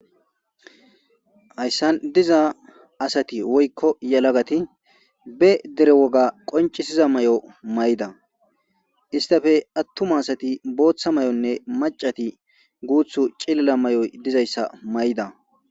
hayssan diza asati woykko yelagati be dere woga qoncisiza mayo mayda, istappe atuma asati booththa mayonne macati guuthu cilila mayoy dizaysa mayda.